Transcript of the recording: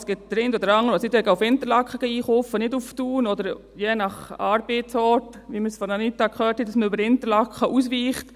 Es gibt den einen oder anderen, der nach Interlaken statt nach Thun einkaufen geht, oder je nach Arbeitsort, wie wir es von Anita Luginbühl gehört haben: dass man über Interlaken ausweicht.